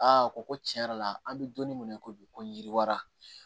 Aa ko ko tiɲɛ yɛrɛ la an bɛ don min na i ko bi ko yiriwara